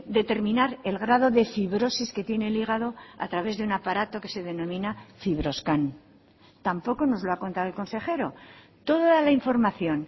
determinar el grado de fibrosis que tiene el hígado a través de un aparato que se denomina fibroscan tampoco nos lo ha contado el consejero toda la información